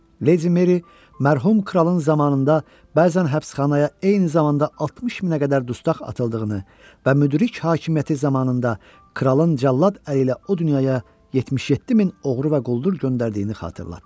Leydi Meri mərhum kralın zamanında bəzən həbsxanaya eyni zamanda 60 minə qədər dustaq atıldığını və müdrik hakimiyyəti zamanında kralın cəllad əli ilə o dünyaya 77 min oğru və quldur göndərdiyini xatırlatdı.